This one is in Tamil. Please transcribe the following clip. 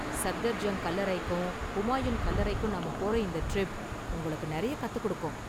சப்தர்ஜங் கல்லறைக்கும் ஹுமாயுன் கல்லறைக்கும் நாம போற இந்த டிரிப் உங்களுக்கு நெறைய கத்துக் கொடுக்கும்.